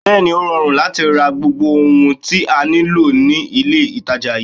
Bẹẹni, ó rọrùn láti ra gbogbo ohun tí a nílò ní ilé itàjà yìí.